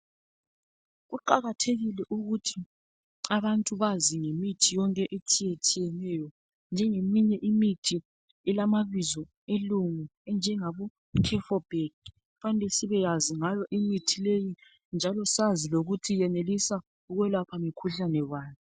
Kuqakathekile ukuthi abantu bazi ngemithi yonke etshiyetshiyeneyo njengeminye imithi elamabizo along anjenga bo cerfburg-0. Kufanele sibayazi ngayo imithi leyi njalo sazi lokuthi yenelisa ukwelapha mikhuhlane bani.